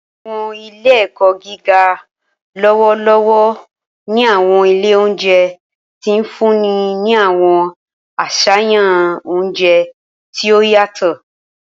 Awọn ile-ẹkọ giga lọwọlọwọ ni awọn ile ounjẹ ti n funni ni awọn aṣayan ounjẹ ti o yatọ.